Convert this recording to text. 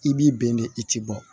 I b'i bɛn de i ti bɔ